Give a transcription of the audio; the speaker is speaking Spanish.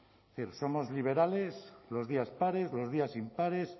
es decir somos liberales los días pares los días impares